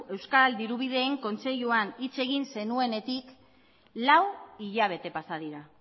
euskal dirubideen kontseiluan hitz egin zenuenetik lau hilabete pasa dira